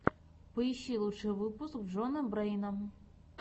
поищи лучший выпуск джона брэйна